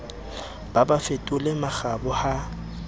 ba ba fetole makgoba ha